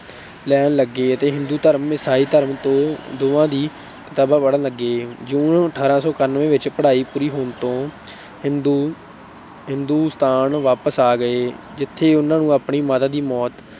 ਲੈਣ ਲੱਗੇ ਅਤੇ ਹਿੰਦੂ ਧਰਮ, ਈਸਾਈ ਧਰਮ ਦੋਵਾਂ ਦੀਆਂ ਕਿਤਾਬਾਂ ਪੜ੍ਹਨ ਲੱਗੇ। June ਅਠਾਰਾਂ ਸੌ ਇਕਾਨਵੇਂ ਵਿੱਚ ਪੜ੍ਹਾਈ ਪੂਰੀ ਹੋਣ ਤੇ ਹਿੰਦੁਸਤਾਨ ਵਾਪਸ ਆ ਗਏ, ਜਿਥੇ ਉਨ੍ਹਾਂ ਨੂੰ ਆਪਣੀ ਮਾਤਾ ਦੀ ਮੌਤ